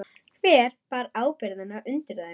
Hver bar ábyrgðina undir þeim?